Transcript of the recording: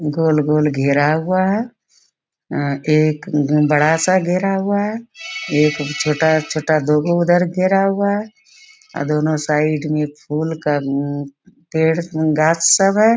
गोल-गोल घेरा हुआ है। अ एक बड़ा सा घेरा हुआ है। एक छोटा-छोटा दोगो उधर घेरा हुआ है अ दोनों साइड में फूल का पेड़ उ गाछ सब है।